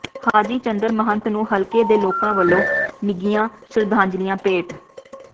ਹਾਜ਼ੀ ਚੰਦ ਮਹੰਤ ਨੂੰ ਹਲਕੇ ਦੇ ਲੋਕਾਂ ਵੱਲੋਂ ਨਿੱਘੀਆਂ ਸ਼ਰਧਾਂਜਲੀਆਂ ਭੇਟ